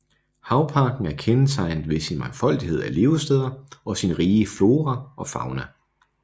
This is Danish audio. Havparken er kendetegnet ved sin mangfoldighed af levesteder og sin rige flora og fauna